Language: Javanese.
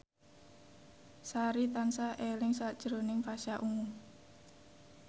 Sari tansah eling sakjroning Pasha Ungu